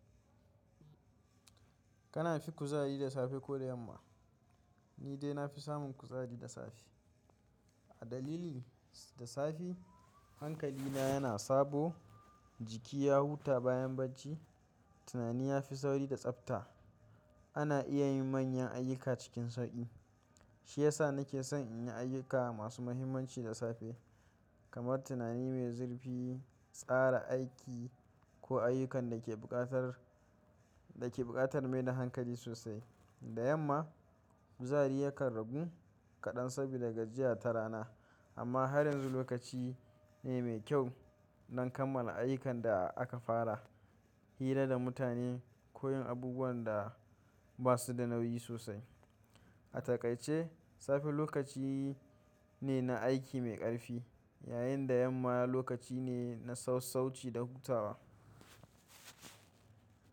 Kana fi kuzari da safe ko da yamma? Ni dai na fi samun kuzari da safe. A dalili, da safe hankalina yana sabo, jiki ya huta bayan bacci, tunani ya fi sauri da tsabta, ana iya yin manyan ayyuka cikin sauƙi. Shi ya sa nake son in yi ayyuka masu muhimmanci da safe, kamar tunani mai zurfi, tsara aiki, ko ayyukan da ke buƙatar, da ke buƙatar mai da hankali sosai. Da yamma, kuzari yakan ragu kaɗan saboda gajiya ta rana, amma har yanzu lokaci ne mai kyau don kammala ayyukan da aka fara, hira da mutane ko yin abubuwan da ba su da nauyi sosai. A takaice, safe lokaci ne na aiki mai ƙarfi, yayin da yamma lokaci ne na sassauci da hutawa.